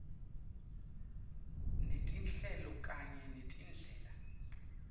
netinhlelo kanye netindlela